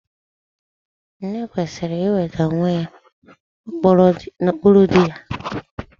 Nne kwesịrị iweda onwe ya n'okpuru dị ya